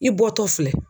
I bɔtɔ filɛ